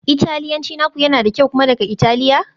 Italiyanci naku yana da kyau, kuna daga Italiya?